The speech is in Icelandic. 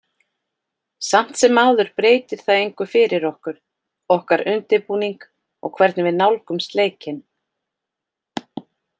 Samt sem áður breytir það engu fyrir okkur, okkar undirbúning og hvernig við nálgumst leikinn.